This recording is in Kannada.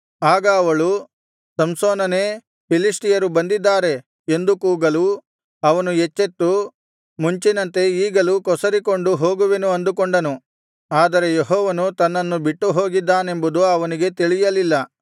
ಆಗ ಅವಳು ಸಂಸೋನನೇ ಫಿಲಿಷ್ಟಿಯರು ಬಂದಿದ್ದಾರೆ ಎಂದು ಕೂಗಲು ಅವನು ಎಚ್ಚೆತ್ತು ಮುಂಚಿನಂತೆ ಈಗಲೂ ಕೊಸರಿಕೊಂಡು ಹೋಗುವೆನು ಅಂದುಕೊಂಡನು ಆದರೆ ಯೆಹೋವನು ತನ್ನನ್ನು ಬಿಟ್ಟುಹೋಗಿದ್ದಾನೆಂಬದು ಅವನಿಗೆ ತಿಳಿಯಲಿಲ್ಲ